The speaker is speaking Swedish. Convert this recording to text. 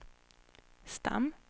stam